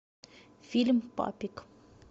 фильм папик